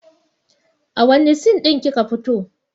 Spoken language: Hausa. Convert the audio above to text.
A wanne sin lin kika fito?